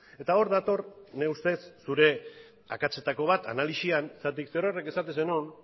eta or dator nire ustez zure akatsetako bat analisian zergatik zerorrek esaten zenuen